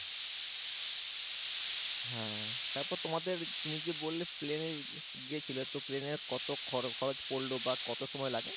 হ্যাঁ তারপর তোমাদের তুমি যে বললে plane এ গেছিলে তো plane এ কত খরচ খরচ পরলো বা কত সময় লাগে?